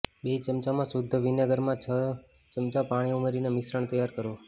બે ચમચા શુદ્ધ વિનેગરમાં છ ચમચા પાણી ઉમેરીને મિશ્રણ તૈયાર કરો